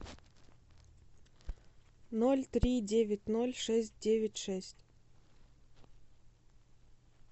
ноль три девять ноль шесть девять шесть